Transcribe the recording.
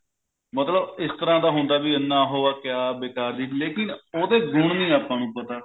ਮਤਲਬ ਇਸ ਤਰ੍ਹਾਂ ਦਾ ਹੁੰਦਾ ਵੀ ਇੰਨਾ ਉਹ ਹੈ ਕਿ ਕਿਆ ਲੇਕਿਨ ਉਹਦੇ ਗੁਣ ਨਹੀਂ ਆਪਾਂ ਨੂੰ ਪਤਾ